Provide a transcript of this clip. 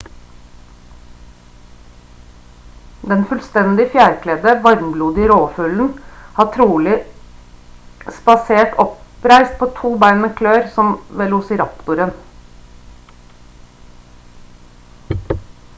den fullstendig fjærkledde varmblodige rovfuglen har trolig spasere oppreist på 2 bein med klør som velociraptoren